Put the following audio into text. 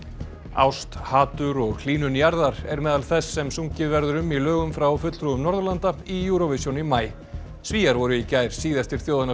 ást hatur og hlýnun jarðar er meðal þess sem sungið verður um í lögum frá fulltrúum Norðurlanda í Eurovision í maí Svíar voru í gær síðastir þjóðanna